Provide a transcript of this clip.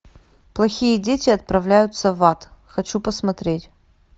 плохие дети отправляются в ад хочу посмотреть